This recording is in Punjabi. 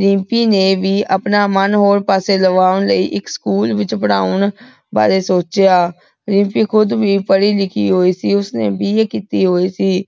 ਰਿਮਪੀ ਨੇ ਵੀ ਆਪਣਾ ਮਨ ਕਿਸੇ ਹੋਰੋ ਪਾਸੇ ਲਾਵਾਂ ਲੈ ਇਕ ਸਕੂਲ ਵਿਚ ਪਰ੍ਹਾਂ ਬਾਰੇ ਸੋਚ੍ਯਾ ਰਿਮਪੀ ਖੁਦ ਵੀ ਪਢ਼ੀ ਲਿਖੀ ਹੋਈ ਸੀ ਓਸਨੇ BA ਕੀਤੀ ਹੋਈ ਸੀ